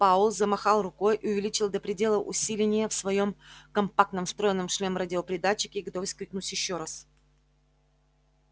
пауэлл замахал рукой и увеличил до предела усиление в своём компактном встроенном в шлем радиопередатчике готовясь крикнуть ещё раз